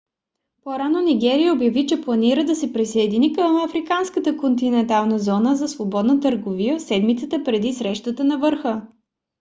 по-рано нигерия обяви че планира да се присъедини към африканската континентална зона за свободна търговия в седмицата преди срещата на върха